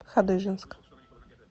хадыженск